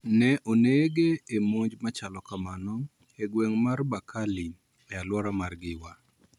Ne oneg e monj ma chalo kamano e gweng ' mar Bakali e alwora mar Giwa.